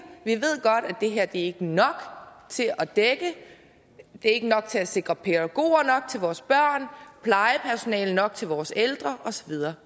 vi ved godt at det her ikke er nok til at dække ikke nok til at sikre pædagoger nok til vores børn plejepersonale nok til vores ældre og så videre